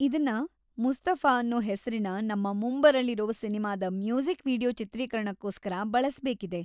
ಇದನ್ನ 'ಮುಸ್ತಫಾ' ಅನ್ನೋ ಹೆಸ್ರಿನ ನಮ್ಮ ಮುಂಬರಲಿರೋ ಸಿನಿಮಾದ ಮ್ಯೂಸಿಕ್ ವೀಡಿಯೋ ಚಿತ್ರೀಕರಣಕ್ಕೋಸ್ಕರ ಬಳಸ್ಬೇಕಿದೆ.